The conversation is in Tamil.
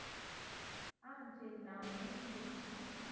ஆஹ் சரி. நான் evening பேசட்டுமா?